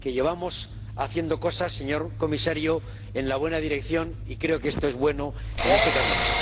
que llevamos haciendo cosas, señor Comisario, en la buena dirección, y creo que esto es bueno en este camino.